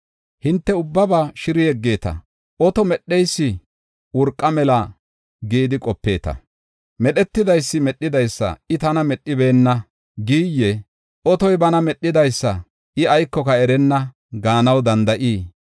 Hinte ubbaba shiri yeggeeta. Oto medheysi urqa mela gidi qopeeta! Medhetidaysi medhidaysa, “I tana medhibeenna” giyyee? Otoy bana medhidaysa, “I aykoka erenna” gaanaw danda7ii?